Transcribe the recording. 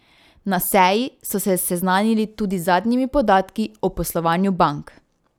Na seji so se seznanili tudi z zadnjimi podatki o poslovanju bank.